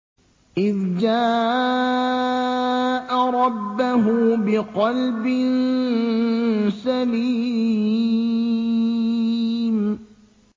إِذْ جَاءَ رَبَّهُ بِقَلْبٍ سَلِيمٍ